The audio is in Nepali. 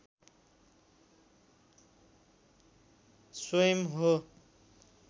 स्वयम् हो